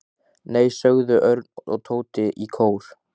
Nei sögðu Örn og Tóti í kór.